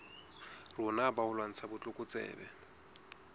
rona ba ho lwantsha botlokotsebe